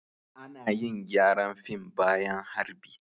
Ana yin gyaran fim bayan harbi.